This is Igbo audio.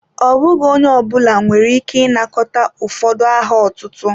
Ọ bụghị onye ọ bụla nwere ike ịnakọta ụfọdụ aha ọtụtụ.